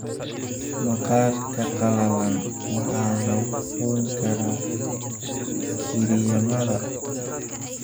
Maqaarka qallalan waxaa lagu qoyn karaa kiriimyada.